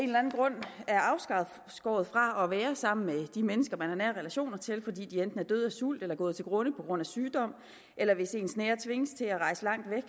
afskåret fra at være sammen med de mennesker man har nære relationer til fordi de enten er døde af sult eller gået til grunde på grund af sygdom eller hvis ens nære tvinges til at rejse langt væk